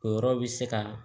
O yɔrɔ bi se ka